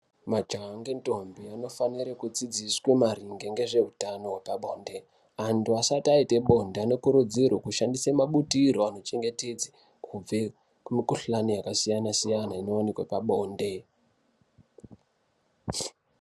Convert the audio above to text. Majaya nendombi munofanira kudzidziswe maringe ngezveutano wepabonde antu asati aita bonde anokurudzirwa kushandisa mabutiro anochengetedza kubve kumukhuhlani yakasiyana siyana inooneka pabonde.